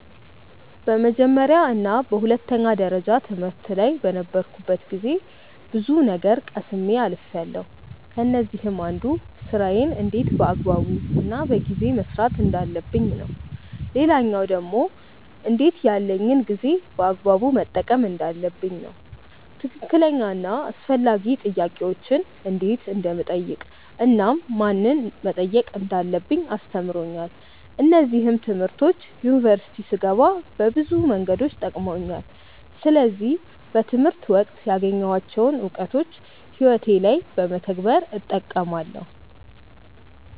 በመጀመርያ እና በሁለተኛ ደረጃ ትምህርት ላይ በነበርኩበት ጊዜ ብዙ ነገር ቀስሜ አልፍያለው። ከነዚህም አንዱ ስራዬን እንዴት በአግባቡ እና በጊዜ መስራት እንዳለብኝ ነው። ሌላኛው ደግሞ እንዴት ያለኝን ጊዜ በአግባቡ መጠቀም እንዳለብኝ ነው። ትክክለኛ እና አስፈላጊ ጥያቄዎችን እንዴት እንደምጠይቅ እናም ምንን መጠየቅ እንዳለብኝ አስተምሮኛል። እነዚህም ትምህርቶች ዩኒቨርሲቲ ስገባ በብዙ መንገዶች ጠቅመውኛል። ስለዚህ በትምህርት ወቅት ያገኘኋቸውን እውቀቶች ህይወቴ ላይ በመተግበር እጠቀማለው።